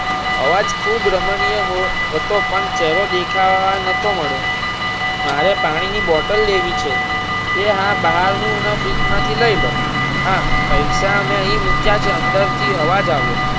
અવાજ ખુબ રમણીય હતો પણ ચહેરો દેખાવા નતો મળ્યો મારે પાણી ની bottle લેવી છે એ હા બહાર ની એવા fridge માંથી લઇ લો હા પૈસા મેં અહીં મુક્યા છે અંદર થી અવાજ આવ્યો.